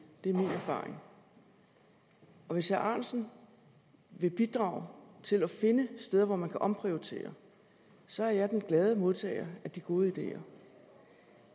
det er min erfaring hvis herre ahrendtsen vil bidrage til at finde steder hvor man kan omprioritere så er jeg den glade modtager af de gode ideer